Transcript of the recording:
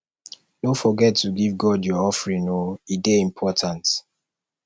no forget to give god your offering o e dey important